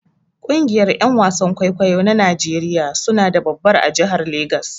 Kungiyar Yan wasan kwaikwayo na Najeriya suna da babbar a jahar Lagos